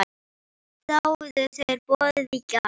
Þáðu þeir boðið í gær.